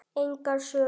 Engar sögur.